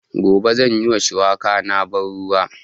Gobe zan yi ma shuwaka na ban ruwa